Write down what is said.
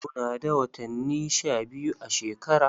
Muna da watanni sha biyu a shekara.